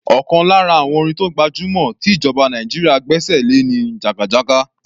Ọ̀kan lára àwọn orin tó gbajúmọ̀ tí ìjọba Nàìjíríà gbẹ́ṣẹ̀ lé ni "jagajaga".